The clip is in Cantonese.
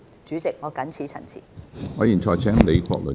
主席，我謹此陳辭。